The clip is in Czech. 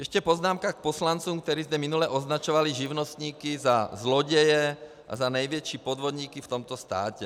Ještě poznámka k poslancům, kteří zde minule označovali živnostníky za zloděje a za největší podvodníky v tomto státě.